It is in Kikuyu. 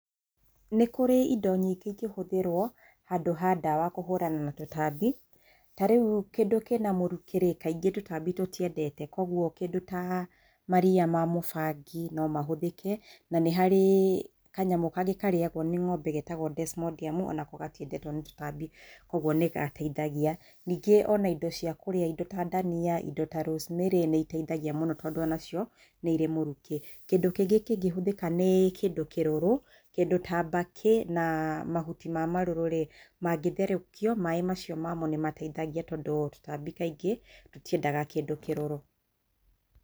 Nĩ kũrĩ indo nyingĩ ingĩhũthĩrwo handũ ha ndawa kũhũrana na tũtambi, ta rĩu kĩndũ kĩna mũrukĩ kaingĩ tũtambi tũtiendete koguo kĩndũ ta mariya ma mũbangi no mahũthĩke na nĩ harĩ kanyamũ kangĩ karĩyagwo nĩ ng'ombe getagwo desmodium onako gatiendetwo nĩ tũtambi, koguo nĩ gateithagia, ningĩ ona indo cia kũrĩa indo ta ndania, indo ta rosemary nĩiteithagia mũno tondũ nacio nĩirĩ mũrukĩ. Kĩndũ kĩngĩ kĩngĩhũthĩka nĩ kĩndũ kĩrũrũ kĩndũ ta mbakĩ mahuti ma marũrũ mangĩtherũkio maaĩ macio mamo nĩmateithagia tondũ tũtambi natuo kaingĩ rĩ tũtiendaga kĩndũ kĩrũrũ.